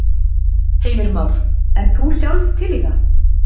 Heimir Már: En þú sjálf til í það?